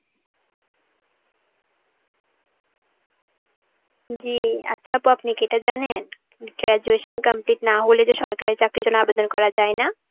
জি, আচ্ছা অপু আপনি কি এটা জানেন graduation complete না হলে যে সরকারি চাকরির জন্য আবেদন করা যায় না.